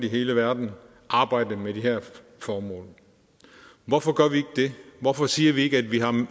i hele verden arbejde med de her formål hvorfor gør vi ikke det hvorfor siger vi ikke at vi har